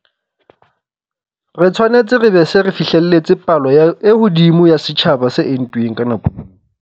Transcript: Re tshwanetse re be re se re fihlelletse palo e hodimo ya setjhaba se entuweng ka nako eo.